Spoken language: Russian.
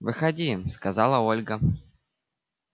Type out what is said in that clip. выходи сказала ольга